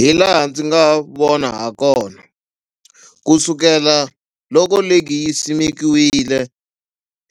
Hilaha ndzi nga vona hakona, ku sukela loko ligi yi simekiwile